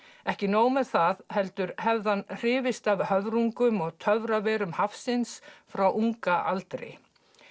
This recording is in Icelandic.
ekki nóg með það heldur hefði hann hrifist af höfrungum og hafsins frá unga aldri